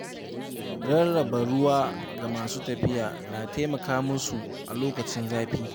Rarraba ruwa ga masu tafiya na taimaka musu a lokacin zafi.